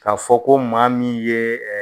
Ka fɔ ko maa min ye